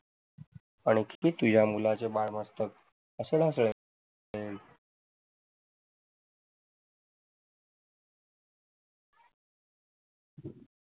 आणि किती तुझ्या मुलाचे बाल मस्तक